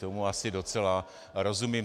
Tomu asi docela rozumím.